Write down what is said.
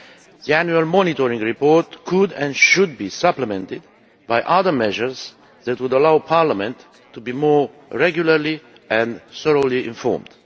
The annual monitoring report could and should be supplemented by other measures that would allow Parliament to be kept regularly and effectively informed.